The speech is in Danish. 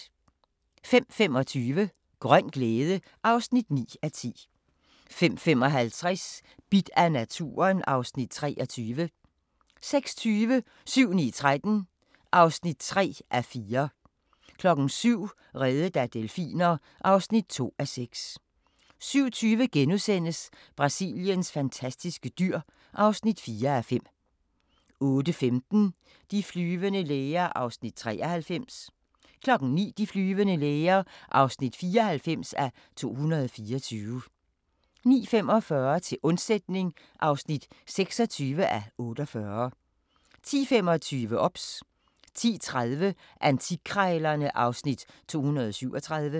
05:25: Grøn glæde (9:10) 05:55: Bidt af naturen (Afs. 23) 06:20: 7-9-13 (3:4) 07:00: Reddet af delfiner (2:6) 07:20: Brasiliens fantastiske dyr (4:5)* 08:15: De flyvende læger (93:224) 09:00: De flyvende læger (94:224) 09:45: Til undsætning (26:48) 10:25: OBS 10:30: Antikkrejlerne (Afs. 237)